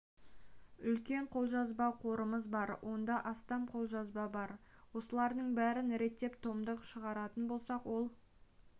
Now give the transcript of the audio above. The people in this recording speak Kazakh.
үлкен қолжазба қорымыз бар онда астам қолжазба бар осылардың бәрін реттеп томдық шығаратын болсақ ол